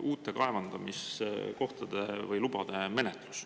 uute kaevandamislubade menetlus.